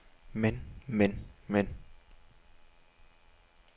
men men men